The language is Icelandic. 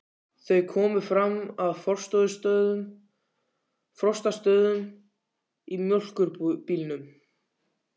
Þau komu fram að Frostastöðum í mjólkurbílnum.